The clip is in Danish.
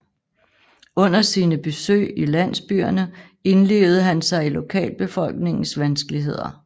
Under sine besøg i landsbyerne indlevede han sig i lokalbefolkningens vanskeligheder